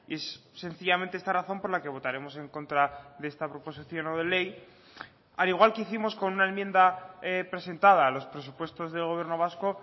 es sencillamente esta razón por la que votaremos en contra de esta proposición no de ley al igual que hicimos con una enmienda presentada a los presupuestos del gobierno vasco